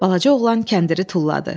Balaca oğlan kəndiri tulladı.